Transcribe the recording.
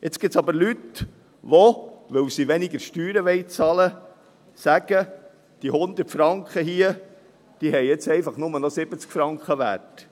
Jetzt gibt es aber Leute, die, weil sie weniger Steuern bezahlen wollen, sagen, diese 100 Franken hier haben jetzt einfach nur noch 70 Franken wert.